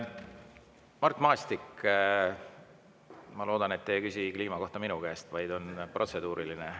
Mart Maastik, ma loodan, et te ei küsi minu käest kliima kohta, vaid teil on protseduuriline.